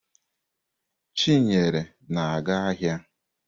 Chinyere na-aga ahịa.